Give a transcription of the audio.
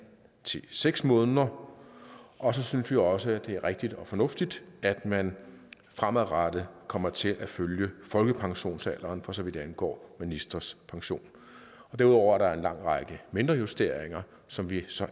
til seks måneder og så synes vi også at det er rigtigt og fornuftigt at man fremadrettet kommer til at følge folkepensionsalderen for så vidt angår ministres pension derudover er der en lang række mindre justeringer som vi så